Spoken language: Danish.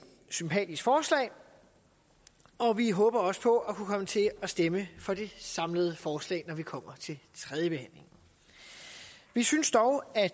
sympatisk forslag og vi håber også på at kunne komme til at stemme for det samlede forslag når vi kommer til tredjebehandlingen vi synes dog at